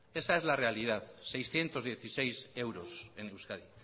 esa es la realidad seiscientos dieciséis euros en euskadi